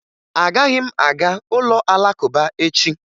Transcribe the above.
Agaghị m aga ụlọ Alakụba echi